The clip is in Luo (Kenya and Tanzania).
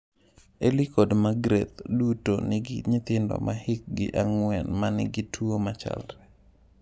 Elly kod Magreth duto nigi nyithindo ma hikgi ang’wen ma nigi tuwo machalre.